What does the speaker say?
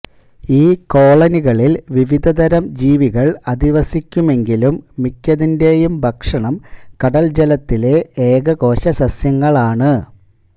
ഈ കോളണികളിൽ വിവിധതരം ജീവികൾ അധിവസിക്കുമെങ്കിലും മിക്കതിന്റേയും ഭക്ഷണം കടൽജലത്തിലെ ഏകകോശസസ്യങ്ങളാണ്